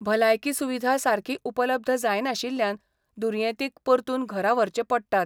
भलायकी सुविधा सारकी उपलब्ध जायनाशिल्ल्यान दुर्येतींक परतून घरा व्हरचे पडटात.